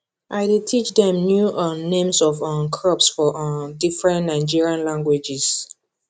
i dey teach dem new um names of um crops for um different nigerian languages